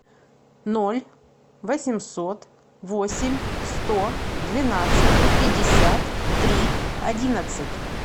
ноль восемьсот восемь сто двенадцать пятьдесят три одиннадцать